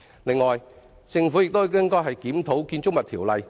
此外，政府應檢討《建築物條例》。